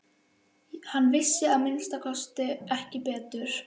Hann vissi að minnsta kosti ekki betur.